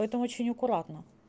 это очень аккуратно